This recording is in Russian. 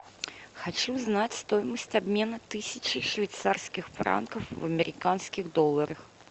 хочу знать стоимость обмена тысячи швейцарских франков в американских долларах